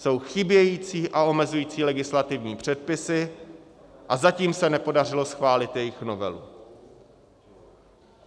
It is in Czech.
Jsou chybějící a omezující legislativní předpisy a zatím se nepodařilo schválit jejich novelu.